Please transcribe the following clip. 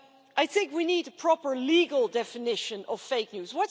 I think we need a proper legal definition of fake news.